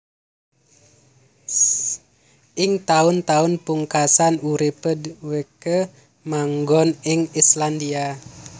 Ing taun taun pungkasan uripé dhèwèké manggon ing Islandia